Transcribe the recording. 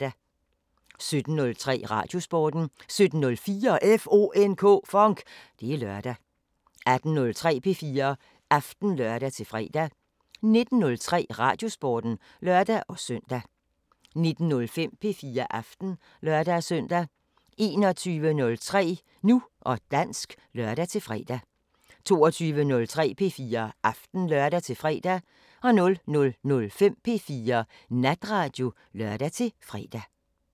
17:03: Radiosporten 17:04: FONK! Det er lørdag 18:03: P4 Aften (lør-fre) 19:03: Radiosporten (lør-søn) 19:05: P4 Aften (lør-søn) 21:03: Nu og dansk (lør-fre) 22:03: P4 Aften (lør-fre) 00:05: P4 Natradio (lør-fre)